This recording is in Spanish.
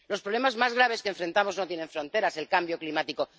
Los problemas más graves que enfrentamos no tienen fronteras el cambio climático.